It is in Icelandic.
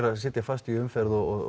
að sitja fast í umferð og